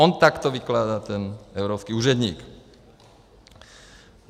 On to takto vykládá ten evropský úředník.